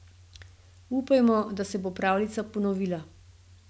Upajmo, da se bo pravljica ponovila.